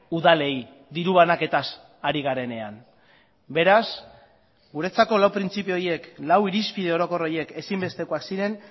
udalei diru banaketaz ari garenean beraz guretzako lau printzipio horiek lau irizpide orokor horiek ezinbestekoak ziren